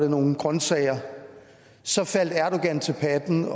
nogle grønsager så faldt erdogan til patten